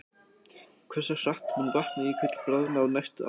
Hversu hratt mun Vatnajökull bráðna á næstu árum?